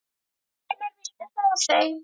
Hvenær viltu fá þau?